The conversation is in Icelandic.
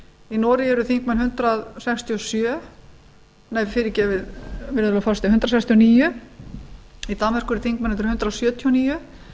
í noregi eru þingmenn hundrað sextíu og níu í danmörku eru þingmennirnir hundrað sjötíu og níu